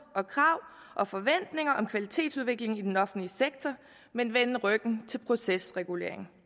og krav og forventninger om kvalitetsudvikling i den offentlige sektor men vende ryggen til procesregulering